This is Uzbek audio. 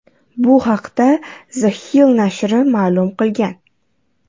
Bu haqda The Hill nashri ma’lum qilgan.